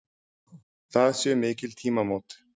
Það séu mikil tímamót.